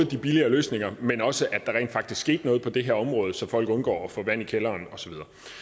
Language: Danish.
de billigere løsninger men også at der rent faktisk skete noget på det her område så folk undgår at få vand i kælderen og så